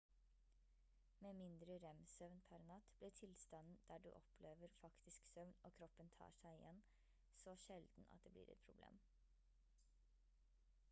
med mindre rem-søvn per natt blir tilstanden der du opplever faktisk søvn og kroppen tar seg igjen så sjelden at det blir et problem